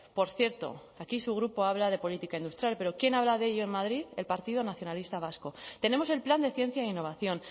por cierto aquí su grupo habla de política industrial pero quién habla de ello en madrid el partido nacionalista vasco tenemos el plan de ciencia e innovación